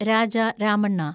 Raja Ramanna